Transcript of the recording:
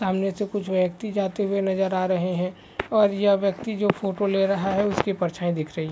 सामने से कुछ व्यक्ति जाते हुए नजर रहे है। और यह व्यक्ति जो फोटो ले रहा है उसकी परछाई दिख रही--